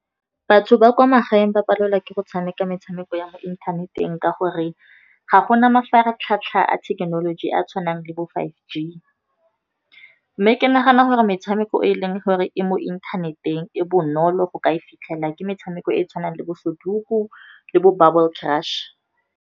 Batho ba kwa magaeng ba palelwa ke go tshameka metshameko ya mo inthaneteng, ka gore ga go na mafaratlhatlha a thekenoloji a a tshwanang le bo five G. Mme ke nagana gore metshameko e leng gore e mo inthaneteng e bonolo, go ka e fitlhela ke metshameko e tshwanang le bo soduko le bo bubble crush.